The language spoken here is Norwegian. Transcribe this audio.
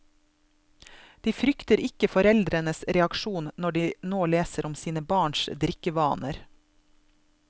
De frykter ikke foreldrenes reaksjon når de nå leser om sine barns drikkevaner.